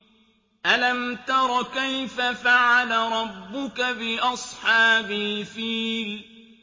أَلَمْ تَرَ كَيْفَ فَعَلَ رَبُّكَ بِأَصْحَابِ الْفِيلِ